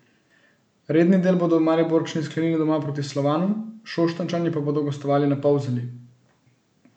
Redni del bodo Mariborčani sklenili doma proti Slovanu, Šoštanjčani pa bodo gostovali na Polzeli.